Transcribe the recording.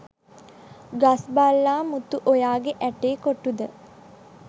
ගස් බල්ලා මුතු ඔයාගේ ඇටේ කොටුද?